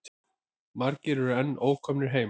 Margir eru enn ókomnir heim.